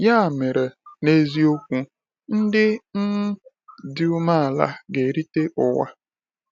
Ya mere, n’eziokwu, “ndị um dị umeala ga-erite ụwa.”